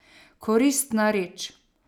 Koristna reč.